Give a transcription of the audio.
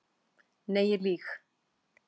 Nei ég lýg.